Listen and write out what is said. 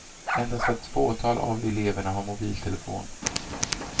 Endast ett fåtal av eleverna har mobiltelefon.